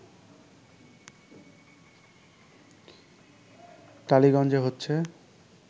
টালিগজ্ঞে হচ্ছে